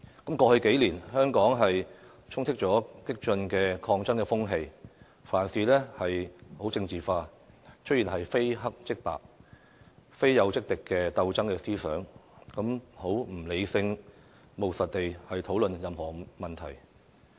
過去數年，香港充斥激進的抗爭風氣，凡事都政治化，出現非黑即白、非友即敵的鬥爭思想，不能理性務實地討論任何問題。